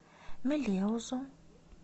мелеузу